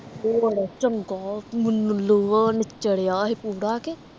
ਹੋਰ ਚੰਗਾ ਖੂਨ ਲੁਹਾ ਨਿੱਚੜ ਡਯਾ ਸੀ ਪੂਰਾ ਕੇ